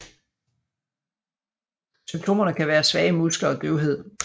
Symptomerne kan være svage muskler og døvhed